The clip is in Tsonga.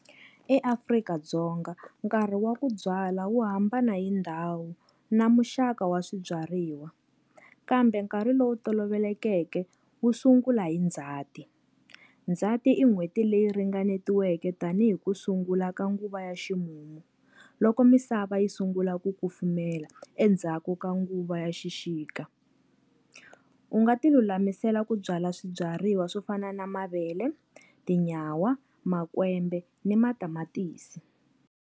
EAfrika-Dzonga nkarhi wa ku byala wu hambana hi ndhawu na muxaka wa swibyariwa, kambe nkarhi lowu tolovelekeke wu sungula hi Ndzhati. Ndzhati i n'hweti leyi ringanetiweke tanihi ku sungula ka nguva ya ximumu, loko misava yi sungula ku kufumela endzhaku ka nguva ya xixika. U nga ti lulamisela ku byala swibyariwa swo fana na mavele, tinyawa, makwembe ni matamatisi.